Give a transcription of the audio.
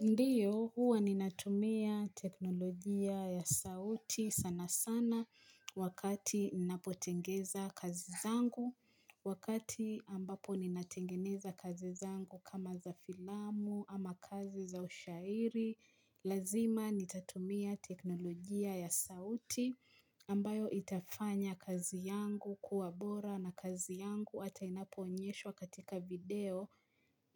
Ndiyo, huwa ninatumia teknolojia ya sauti sana sana wakati ninapotengeza kazi zangu, wakati ambapo ninatengeneza kazi zangu kama za filamu ama kazi za ushairi, lazima nitatumia teknolojia ya sauti ambayo itafanya kazi yangu kuwabora na kazi yangu hata inapoonyeshwa katika video.